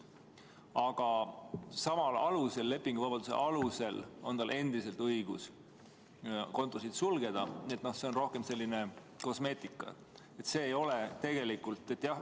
Aga samal, lepinguvabaduse alusel on tal endiselt õigus kontosid sulgeda, nii et see oli rohkem selline kosmeetiline.